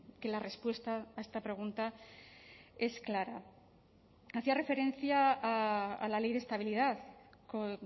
que la respuesta a esta pregunta es clara hacía referencia a la ley de estabilidad con